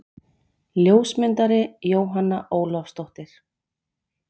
Ljósmyndari: Jóhanna Ólafsdóttir.